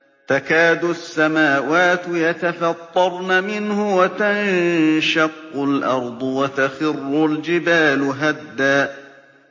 تَكَادُ السَّمَاوَاتُ يَتَفَطَّرْنَ مِنْهُ وَتَنشَقُّ الْأَرْضُ وَتَخِرُّ الْجِبَالُ هَدًّا